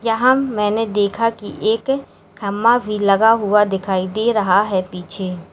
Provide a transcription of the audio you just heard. यहां मैने देखा की एक खंभा भी लगा हुआ दिखाई दे रहा है पीछे।